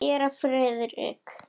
Séra Friðrik